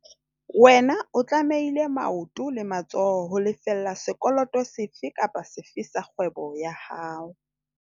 Wena o tlamehile maoto le matsoho ho lefella sekoloto sefe kapa sefe sa kgwebo ya hao.